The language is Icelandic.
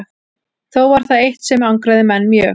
Þó var það eitt sem angraði menn mjög.